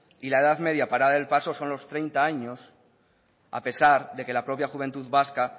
y la edad media para dar el paso son los treinta años a pesar de que la propia juventud vasca